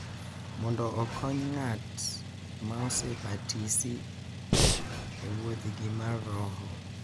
Mondo okony ng’at ma osebatisi e wuodhgi mar roho.